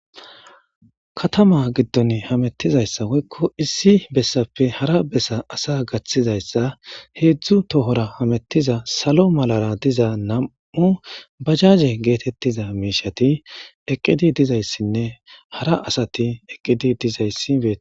katama giddon hamettizayssawoykko issi bessappe hara bessa asa gaththizayssa heedzdzu tohora hamettiza salo malara diza nam7u bajaje geetettiza miishati eqqidi dizayssinne hara asati eqqidi dizayssi be